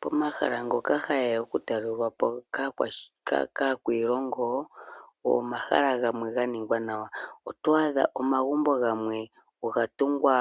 Pomahala ngoka hage ya okutalelwapo kaakwiilongo omahala gamwe ga ninga nawa, oto adha omagumbo gamwe ga tungwa